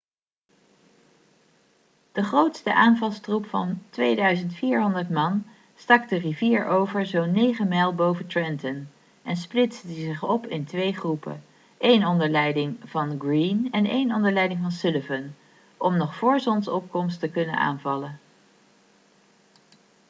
de grootste aanvalstroep van 2400 man stak de rivier over zo'n 9 mijl boven trenton en splitste zich op in twee groepen een groep onder leiding van greene en een onder leiding van sullivan om nog voor zonsopkomst te kunnen aanvallen